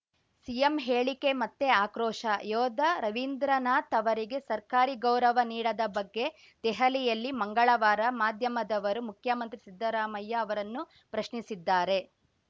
CM ಹೇಳಿಕೆ ಮತ್ತೆ ಆಕ್ರೋಶ ಯೋಧ ರವೀಂದ್ರನಾಥ್‌ ಅವರಿಗೆ ಸರ್ಕಾರಿ ಗೌರವ ನೀಡದ ಬಗ್ಗೆ ದೆಹಲಿಯಲ್ಲಿ ಮಂಗಳವಾರ ಮಾಧ್ಯಮದವರು ಮುಖ್ಯಮಂತ್ರಿ ಸಿದ್ದರಾಮಯ್ಯ ಅವರನ್ನು ಪ್ರಶ್ನಿಸಿದ್ದಾರೆ